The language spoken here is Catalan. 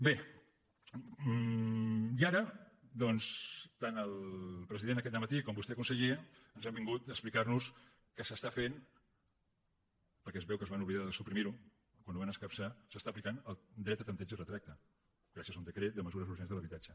bé i ara doncs tant el president aquest dematí com vostè conseller ens han vingut a explicarnos que s’està fent perquè es veu que es van oblidar de suprimirho quan ho van escapçar s’està aplicant el dret a tanteig i retracte gràcies a un decret de mesures urgents de l’habitatge